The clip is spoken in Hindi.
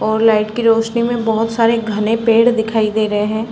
और लाइट के रोशनी में बहोत सारे घने पेड़ दिखाई दे रहे हैं।